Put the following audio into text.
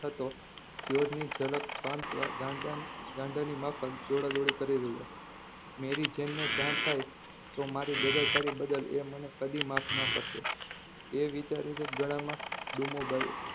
થતો જયોર્જ ની ઝલક પામવા ગાન~ગાંડાની માફક દોદ દોળી કરી રહ્યોના મેરી જેન ને જાણ થાય તો મારી બેદરકારી બદલ એ મને કદી માફ ના કરશે એ વિચારીનેજ ગાળામાં ડૂમો